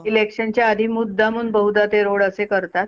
electionच्या आधी मुदामहून बहुदा ते road असे करतात.